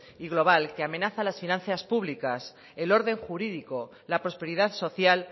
y global que amenaza las finanzas públicas el orden jurídico la prosperidad social